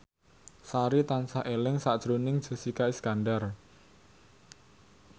Sari tansah eling sakjroning Jessica Iskandar